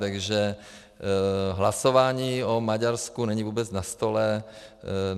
Takže hlasování o Maďarsku není vůbec na stole.